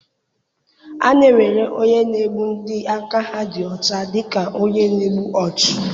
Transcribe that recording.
A na-ewere onye na-egbu ndị aka ha dị ọcha dị ka onye na-egbu ọchụ.